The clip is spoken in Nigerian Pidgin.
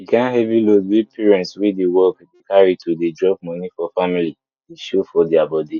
the kind heavy load wey parents wey dey work dey carry to dey drop money for family dey show for their body